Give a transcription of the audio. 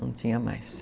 Não tinha mais.